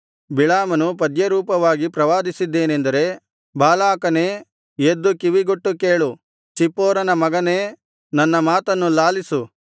ಬಿಳಾಮನು ಪದ್ಯರೂಪವಾಗಿ ಪ್ರವಾದಿಸಿದ್ದೇನೆಂದರೆ ಬಾಲಾಕನೇ ಎದ್ದು ಕಿವಿಗೊಟ್ಟು ಕೇಳು ಚಿಪ್ಪೋರನ ಮಗನೇ ನನ್ನ ಮಾತನ್ನು ಲಾಲಿಸು